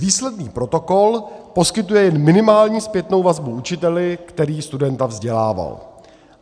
Výsledný protokol poskytuje jen minimálně zpětnou vazbu učiteli, který studenta vzdělával.